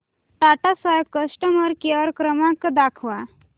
Tata Sky customer care क्रमांक दाखवा